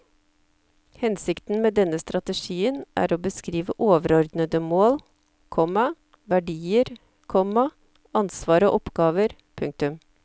Hensikten med denne strategien er å beskrive overordnede mål, komma verdier, komma ansvar og oppgaver. punktum